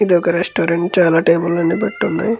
ఇదొక రెస్టారెంట్ చాలా టేబల్స్ పెట్టి ఉన్నయి.